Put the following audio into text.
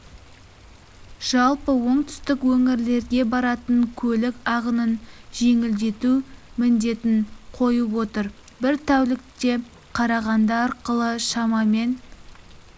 жалпы оңтүстік өңірлерге баратын көлік ағынын жеңілдету міндетін қойып отыр бір тәулікте қарағанды арқылы шамамен